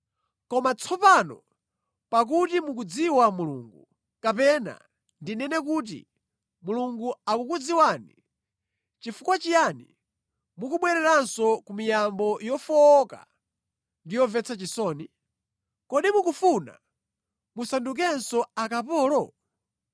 Koma tsopano pakuti mukumudziwa Mulungu, kapena ndinene kuti Mulungu akukudziwani, nʼchifukwa chiyani mukubwereranso ku miyambo yofowoka ndi yomvetsa chisoni? Kodi mukufuna musandukenso akapolo?